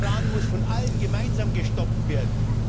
Der Iran muss von allen gemeinsam gestoppt werden.